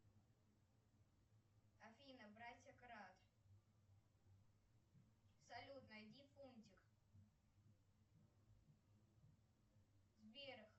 афина братья крат салют найди фунтик сбер